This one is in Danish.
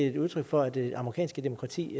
et udtryk for at det amerikanske demokrati